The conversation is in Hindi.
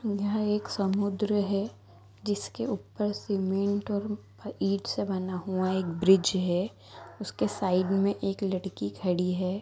यह एक समुद्र है जिसके उपर सीमेट और ईट से बना हुआ एक ब्रिज है उसके साइड मे एक लडकी खड़ी है।